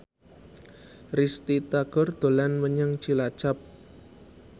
Risty Tagor dolan menyang Cilacap